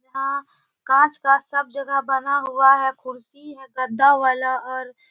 हाँ कांच का सब जगह बना हुआ है कुर्सी है गद्दा वाला और --